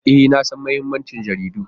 E, na san mahimmancin jaridu.